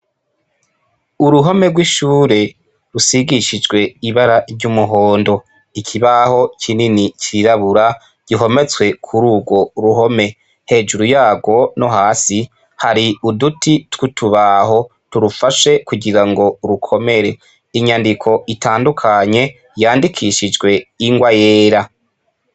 Uruhome rw'ishure rusigishijwe ibara ry'umuhondo, ikibaho kinini cirabura gihometswe kururwo ruhome. Hejuru yarwo no hasi hari uduti twutubaho turufashe kugira ngo rukomere. Inyandiko itandukanye yandikishijwe ingwa yera.